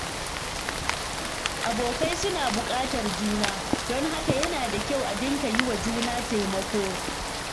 Abokai suna bukatar juna, don haka yana da kyau a dinga yi wa juna taimako.